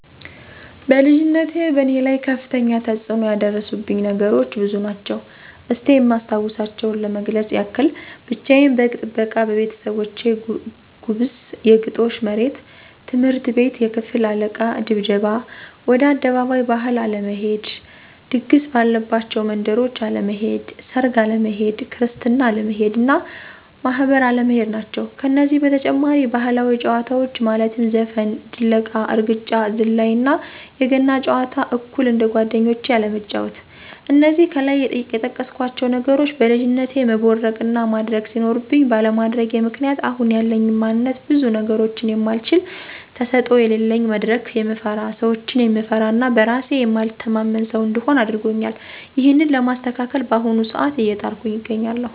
በልጅነቴ በእኔ ላይ ከፍተኛ ተፅኖ ያደረሱብኝ ነገሮች ብዙ ናቸው። እስቲ የማስታውሳቸውን ለመግለፅ ያክል፦ ብቻየን በግ ጥበቃ በቤተሰቦቼ ጉብስ(የግጦሽ መሬት)፣ትምህርት ቤት የክፍል አለቃ ድብደባ፣ ወደ አደባባይ ባህል አለመሄድ፣ ድግስ ባለባቸው መንደሮች አለመሄድ፣ ሰርግ አለመሄድ፣ ክርስትና አለመሄድ እና ማህበር አለመሄድ ናቸው። ከነዚህ በተጨማሪ ባህላዊ ጨዋታዎች ማለትም ዘፈን፣ ድለቃ፣ እርግጫ፣ ዝላይ እና የገና ጨዋታ አኩል እንደጓደኞቼ አለመጫዎት። እነዚህ ከላይ የጠቀስኳቸው ነገሮች በልጅነቴ መቦረቅ እና ማድረግ ሲኖርብኝ ባለማድረጌ ምክንያት አሁን ያለኝ ማንነት ብዙ ነገሮችን የማልችል፣ ተሰጦ የለለኝ፣ መድረክ የምፈራ፣ ሰዎችን የምፈራ እና በእራሴ የማልተማመን ሰው እንድሆን አድርጎኛል። ይህንን ለማስተካከል በአሁኑ ሰአት አየጣርኩ አገኛለሁ።